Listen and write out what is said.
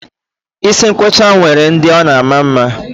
Isi nkwọcha nwere ndị ọ na-adị mma